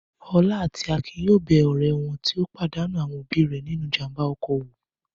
Ọlá àti Akin yóò bẹ ọ̀rẹ́ wọn tó pàdánù àwọn òbí rẹ̀ nínú ìjàm̀ba ọkọ̀ wò.